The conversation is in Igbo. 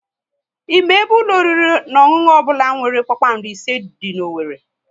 Ị ma ebe ụlọ oriri na ọṅụṅụ ọbụla nwere kpakpando ise dị n'Owerri?